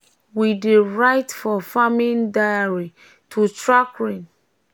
we dey um write for farming diary to track rain and plan planting well.